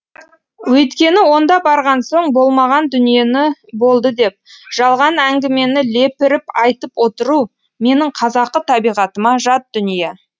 өйткені онда барған соң болмаған дүниені болды деп жалған әңгімені лепіріп айтып отыру менің қазақы табиғатыма жат дүние